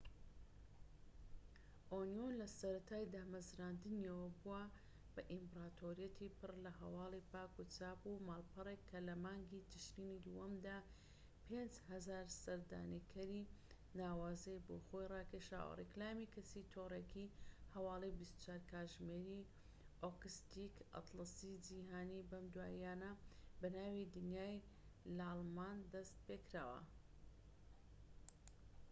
ئۆنیۆن لەسەرەتای دامەزراندنییەوە بووە بە ئیمپراتۆریەتی پڕلە هەواڵی پاک و چاپ ماڵپەڕێک کە لە مانگی ترشینی دووەمدا 5000هەزار سەردانیکەری ناوازەی بۆ خۆی ڕاکێشاوە ڕیکلامی کەسی تۆڕێکی هەواڵی 24 کاتژمێری ئۆکستیک ئەتڵەسی جیهانی بەم دواییانە بەناوی دنیای لاڵمان دەست پێکراوە